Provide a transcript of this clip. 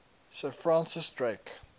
sir francis drake